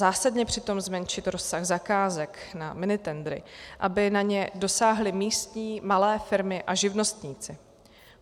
Zásadně přitom zmenšit rozsah zakázek na minitendry, aby na ně dosáhly místní malé firmy a živnostníci.